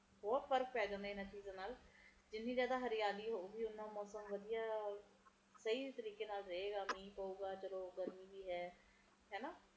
ਬਹੁਤ ਫਰਕ ਪੈ ਜਾਂਦਾ ਹੈ ਹਨ ਚੀਜ਼ਾਂ ਨਾਲ ਜਿੰਨੇ ਜ਼ਿਆਦਾ ਹਰਿਆਲੀ ਹੋਊਗੀ ਓਹਨਾ ਹੀ ਵਧੀਆ ਸਹੀ ਤਰੀਕੇ ਨਾਲ ਰਹੇਗਾ ਮੀਹ ਪਵੇਗਾ